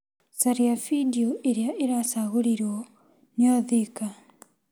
Caria bindiũ ĩrĩa ĩracagũrirwo ni Othika.